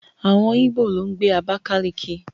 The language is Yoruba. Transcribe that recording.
Àwọn Íbò ló ń gbé Abákáliki